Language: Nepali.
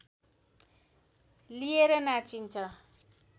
लिएर नाचिन्छ